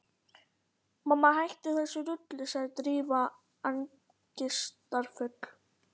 Mamma, hættu þessu rugli sagði Drífa angistarfull.